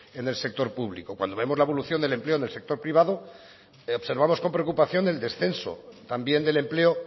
en el sector público cuando vemos la evolución del empleo en el sector privado observamos con preocupación el descenso también del empleo